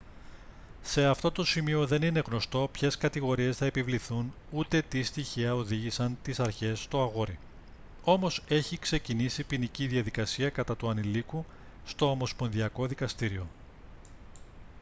σε αυτό το σημείο δεν είναι γνωστό ποιες κατηγορίες θα επιβληθούν ούτε τι στοιχεία οδήγησαν τις αρχές στο αγόρι όμως έχει ξεκινήσει ποινική διαδικασία κατά του ανηλίκου στο ομοσπονδιακό δικαστήριο